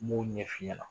N b'o ɲɛf'i ɲɛna